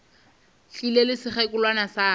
tlile le sekgekolwana sa ka